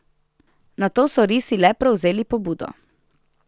Nato so risi le prevzeli pobudo.